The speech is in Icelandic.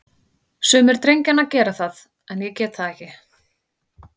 Sumir drengjanna gera það, en ég get það ekki.